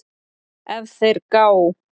ef þeir gá